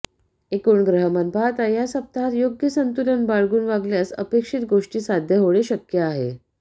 एकूण ग्रहमान पाहता या सप्ताहात योग्य संतुलन बाळगून वागल्यास अपेक्षित गोष्टी साध्य होणे शक्य आहे